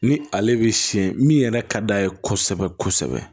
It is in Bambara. Ni ale bɛ siyɛn min yɛrɛ ka d'a ye kosɛbɛ kosɛbɛ